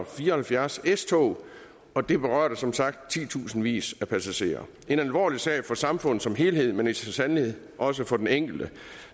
fire og halvfjerds s tog og det berørte som sagt titusindvis af passagerer det en alvorlig sag for samfundet som helhed men så sandelig også for den enkelte